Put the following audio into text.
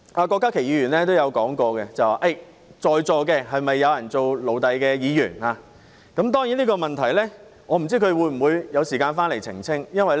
郭家麒議員剛才問及在座是否有做奴隸的議員，我不知道他有沒有時間回來澄清這個問題。